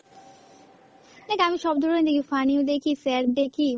দ্যাখ আমি সব ধরনের দেখি, funny ও দেখি, sad দেখি মানে